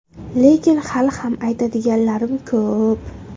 Lekin hali ham aytadiganlarim ko‘p.